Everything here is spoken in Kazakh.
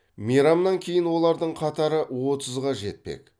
мейрамнан кейін олардың қатары отызға жетпек